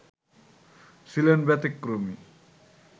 ছিলেন ব্যতিক্রমী